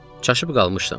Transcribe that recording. Çaşıb qalmışdım.